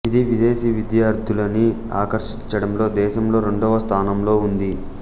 ఇది విదేశీ విద్యార్థులని ఆకర్షించడంలో దేశంలో రెండవ స్థానంలో ఉంది